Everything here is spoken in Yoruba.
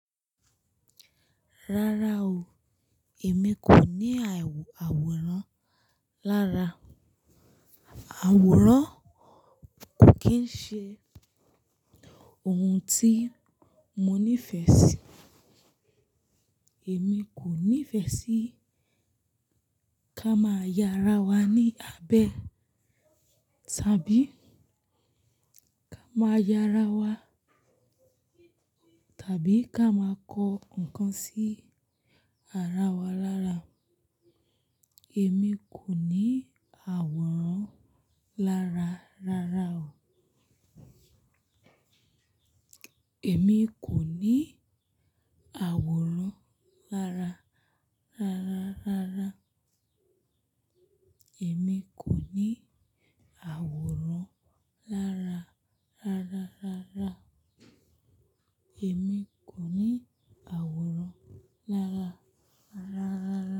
Rárá o, èmi kò ní àwòrán lára. Àwòrán kò kín ń ṣe ohun tí mo nífẹ̀ẹ́ sí. Èmi kò nífẹ̀ẹ́ sí ká máa ya ara wa ní abẹ́ tàbí ká máa ya ara wa, tàbí ká máa kọ ǹkan sí ara wa lára. Èmi kò ní àwòrán lára rárá o. Èmi kò ní àwòrán lára rárá rárá. Èmi kò ní àwòrán lára rárá rárá. Èmi kò ní àwòrán lára rárá rárá.